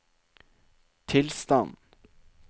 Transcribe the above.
tilstand